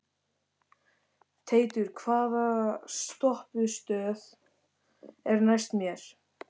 Teitur, hvaða stoppistöð er næst mér?